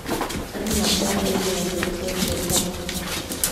Andũ macaririe njĩra njerũ cia biacara.